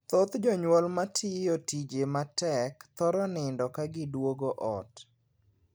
Thoth jonyuol ma tiyo tije matek thoro nindo ka giduogo ot.